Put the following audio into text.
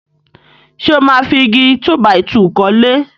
Ṣé ó máa fi Igi túbàìtuù kọ́lé?